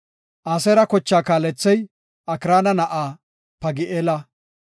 Aseera kochaa kaalethey Okraana na7aa Pagi7eela.